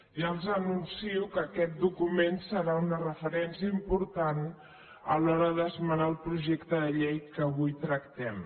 ja els anuncio que aquest document serà una referència important a l’hora d’esmenar el projecte de llei que avui tractem